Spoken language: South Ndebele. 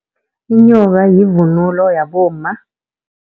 Inyoka yivunulo yabomma.